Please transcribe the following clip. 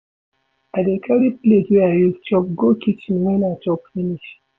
I dey carry plate wey I use chop go kichen wen I chop finish.